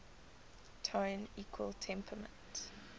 tone equal temperament